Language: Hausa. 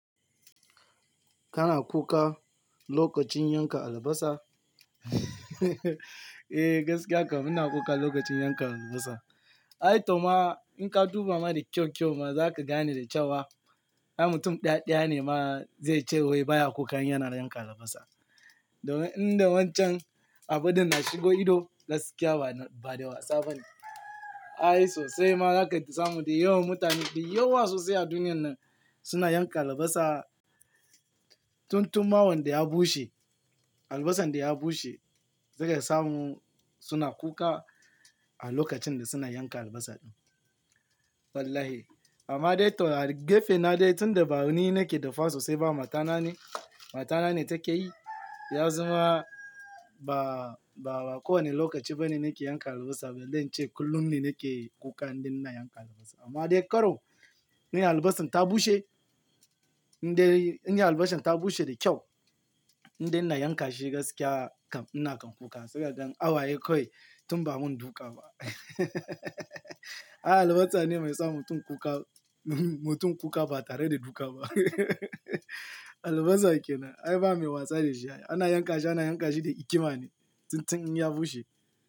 Kana kuka lokacin yanka albasa? Eh gaskiya kam ina kuka lokacin yanka albasa. Ai toh ma in ka duba ma da kyau kyau ma zaka gane da cewa, ai mutum ɗaya ɗaya ne ma Da inda wancan abu din na shigo ido gaskiya ba, ba da wasa bane. Ai sosai ma zaka samu, da yawan mutane, da yawa sosai a duniyan nan suna yanka albasa. Tun tuma wanda ya bushe, albasan da ya bushe, zaka samu suna kuka a lokacin da suna yanka albasa ɗin. Wallahi. Amma dai toh a gefe na dai tunda ba ni nake dafa sosai ba matana ne, matana ne take yi. Ya zama ba, ba kowane lokaci ba ne nake yanka albasa ba, zan ce kullum ne nake kuka in dai ina yanka albasa. Amma dai karo, in albasan ta bushe, in dai in albasan ta bushe da kyau, in dai ina yanka shi gaskiya kam ina kan kuka saboda hawaye kawai tun ba mun duka ba. Ai albasa ne mai sa mutum kuka, mutum kuka ba tare da duka ba. Albasa kenan. Ai ba mai wasa da shi. Ana yanka shi, ana yanka shi da hikima ne tun tun in ya bushe.